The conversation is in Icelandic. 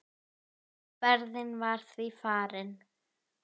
Ferðin var því farin.